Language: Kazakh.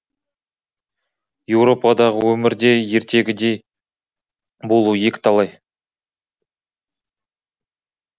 еуропадағы өмір де ертегідегідей болуы екіталай